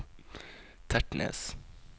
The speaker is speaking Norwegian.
Tertnes